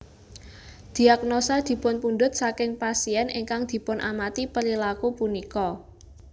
Diagnosa dipunpundut saking pasien ingkang dipunamati perilaku punika